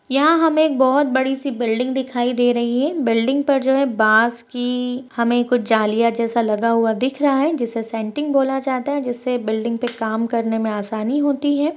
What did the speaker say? यहां हमें एक बोहोत बड़ी सी बिल्डिंग दिखाई दे रही है। बिल्डिंग पर जो है बास की हमें कुछ जालियाँ जैसा लगा हुआ दिख रहा है। जिसे सेटिंग बोला जाता है। जिससे बिल्डिंग पे काम करने में आसानी होती है।